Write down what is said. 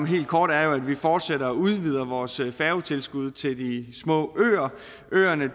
helt kort at vi fortsætter og udvider vores færgetilskud til de små øer øerne